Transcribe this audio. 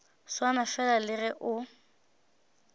swana fela le ge o